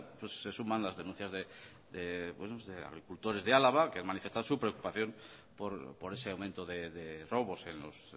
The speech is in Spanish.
se suman las denuncias de agricultores de álava que manifiestan su preocupación por ese aumento de robos en los